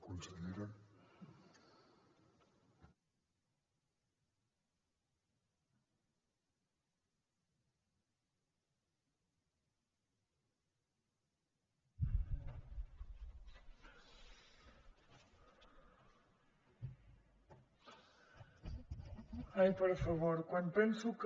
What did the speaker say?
ai per favor quan penso que